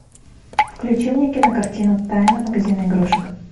включи мне кинокартину тайна магазина игрушек